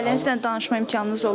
Ailənizlə danışma imkanınız olub?